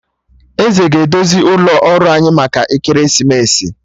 Eze ga- edozi ụlọ ọrụ anyị maka ekeresimesi